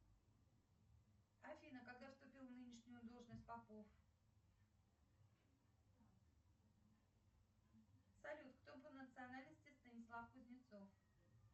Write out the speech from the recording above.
афина когда вступил в нынешнюю должность попов салют кто по национальности станислав кузнецов